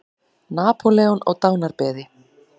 Napóleon á dánarbeði.